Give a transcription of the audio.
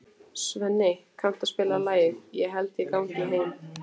Svenni, kanntu að spila lagið „Ég held ég gangi heim“?